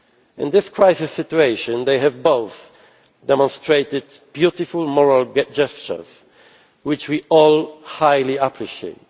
them. In this crisis situation they have both demonstrated beautiful moral gestures which we all highly appreciate.